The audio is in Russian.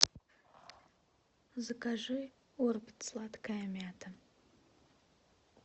закажи орбит сладкая мята